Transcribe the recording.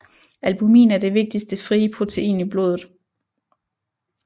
Albumin er det vigtigste frie protein i blodet